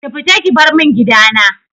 Ki fita ki bar mun gidana!